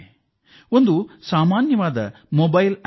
ಅದು ಒಂದು ಸಾಧಾರಣ ಮೊಬೈಲ್ ಆಪ್